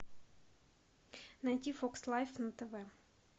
найти фокс лайф на тв